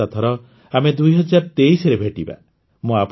ଆସନ୍ତା ଥର ଆମେ ୨୦୨୩ ରେ ଭେଟିବା